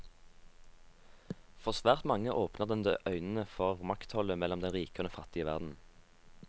For svært mange åpner den øynene for maktforholdet mellom den rike og den fattige verden.